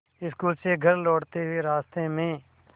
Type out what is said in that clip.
school से घर लौटते हुए रास्ते में